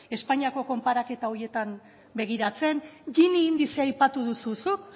espainiako konparaketa horietan begiratzen gini indizea aipatu duzu zuk